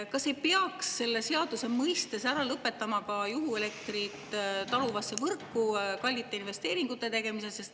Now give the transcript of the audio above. Kas ei peaks selle seadusega ära lõpetama ka juhuelektrit taluvasse võrku kallite investeeringute tegemise?